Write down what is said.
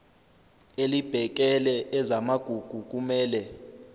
elibhekele ezamagugu kumele